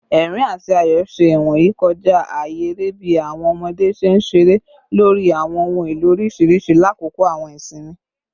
Ẹrín ati ayọ ṣe iwoyi kọja aaye ere bi awọn ọmọde ṣe nṣere lori awọn ohun elo oriṣiriṣi lakoko awọn isinmi